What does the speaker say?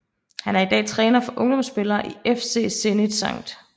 Han er i dag træner for ungdomsspillere i FC Zenit Skt